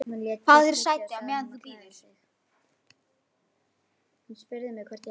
Fáðu þér sæti, meðan þú bíður